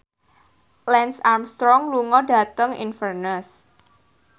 Lance Armstrong lunga dhateng Inverness